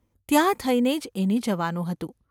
ત્યાં થઈને જ એને જવાનું હતું.